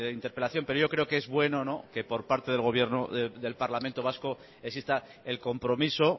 interpelación pero yo creo que es bueno que por parte del parlamento vasco exista el compromiso